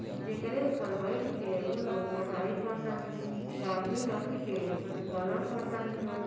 जेकरे ऊपर बइठ के उ लोग पढ़ाई करतानी। कॉपी रखिके कुछ कलर करतानी लोग।